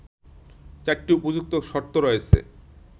৪টি উপযুক্ত শর্ত রয়েছে